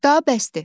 Daha bəsdir.